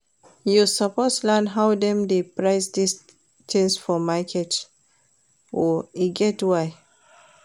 You suppose learn how dem dey price tins for market o, e get why.